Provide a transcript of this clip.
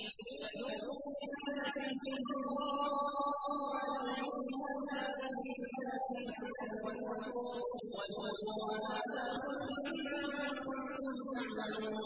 فَذُوقُوا بِمَا نَسِيتُمْ لِقَاءَ يَوْمِكُمْ هَٰذَا إِنَّا نَسِينَاكُمْ ۖ وَذُوقُوا عَذَابَ الْخُلْدِ بِمَا كُنتُمْ تَعْمَلُونَ